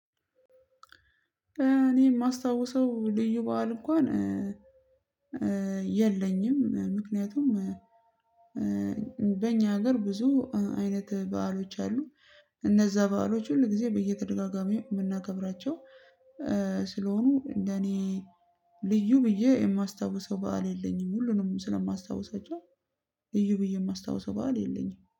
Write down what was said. እኔ የማስታውሰው ልዩ በዓል እንኳን የለኝም ምክንያቱም በእኛ ሀገር ብዙ አይነት በዓሎች አሉ እነዛ በዓሎች ሁሉ ጊዜ በየተደጋጋሚው የምናከብራቸው ስለሆኑ እንደ እኔ ልዩ ብዬ የማስታውሰው በዓል የለኝም። ሁሉንም ስለማስታውሰው ልዩ ብዬ የማስታውሰው በዓል የለኝም